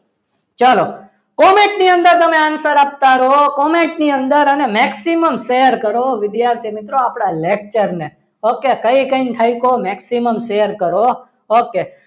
ચલો comment ની અંદર તમે answer આપતા રહો comment ની અંદર અને maximum share કરો વિદ્યાર્થી મિત્રો આપણા lecture ને okay કઈ કઈ ને થાક્યો maximum share કરો okay